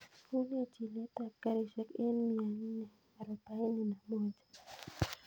Unee chilet ab garishek en mia nne arobaini na moja